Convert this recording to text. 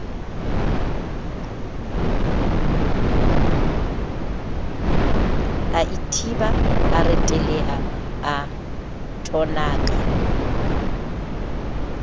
aithiba a reteleha a thonaka